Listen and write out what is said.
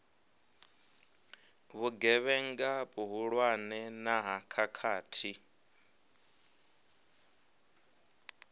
vhugevhenga vhuhulwane na ha khakhathi